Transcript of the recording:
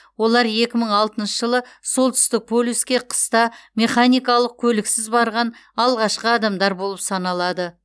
олар екі мың алтыншы жылы солтүстік полюске қыста механикалық көліксіз барған алғашқы адамдар болып саналады